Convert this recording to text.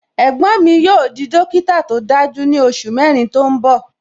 Ẹ̀gbọ́n mi yóò di dókítà tó dájú ní oṣù mẹrin tó ń bọ